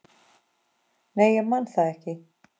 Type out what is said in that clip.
Nei, ég man það ekki.